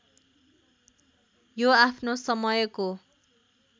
यो आफ्नो समयको